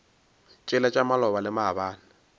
tšela tša maloba le maabane